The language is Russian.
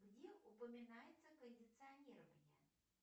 где упоминается кондиционирование